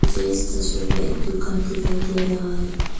मुझे इस तस्वीर में दुकान दिखाई दे रहा है।